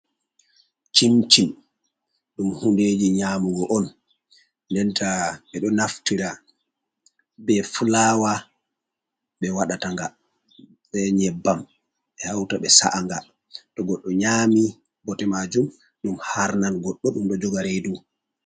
Cimcim ɗum hundeji nyamugo on denta ɓe ɗo naftira be fulawa be waɗata nga, be nyebbam ɓe hauta ɓe sa’anga to goɗɗo nyami bote majum ɗum harnan goɗɗo ɗum ɗo joga reidu.